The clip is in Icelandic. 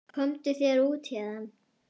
Komdu þér út héðan!